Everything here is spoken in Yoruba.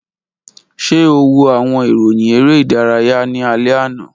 Ṣe o wo awọn iroyin ere idaraya ni alẹ ana?